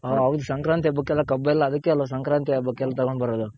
ಓ ಹೌದ್ ಸಂಕ್ರಾಂತಿ ಹಬ್ಬಕ್ಕೆಲ್ಲ ಕಬ್ಬೆಲ್ಲ ಅದಕ್ಕೆಲ್ಲ ಸಂಕ್ರಾಂತಿ ಹಬ್ಬಕ್ಕೆಲ್ಲ ತಗೊಂಡ್ ಬರೋದು.